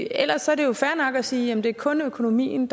ellers er det jo fair nok at sige at det kun er økonomien